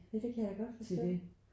Ja det kan jeg godt forstå